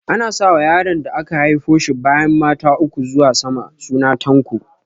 Ana sa wa yaron da aka haifo shi bayan mata uku zuwa sama suna Tanko